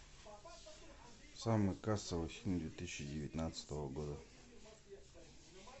самый кассовый фильм две тысячи девятнадцатого года